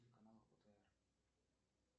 канал отр